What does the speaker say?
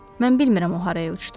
Mən bilmirəm o haraya uçdu.